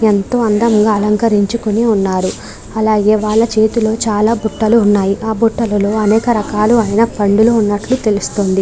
ఎంతో అందంగా అలంకరించుకొని ఉన్నారు అలాగే వాళ్ళ చేతిలో చాలా బుట్టలు ఉన్నాయి ఆ బుట్టలలో అనేక రకాలు అయిన పండులు ఉన్నట్లు తెలుస్తుంది.